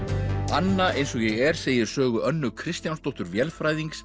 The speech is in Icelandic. anna eins og ég er segir Sögu Önnu Kristjánsdóttur